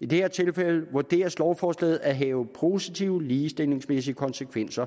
i det her tilfælde vurderes lovforslaget at have positive ligestillingsmæssige konsekvenser